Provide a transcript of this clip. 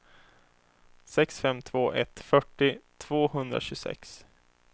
sex fem två ett fyrtio tvåhundratjugosex